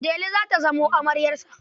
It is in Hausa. Delu za ta zamo amaryarsa.